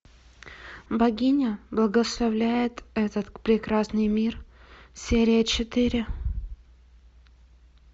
богиня благословляет этот прекрасный мир серия четыре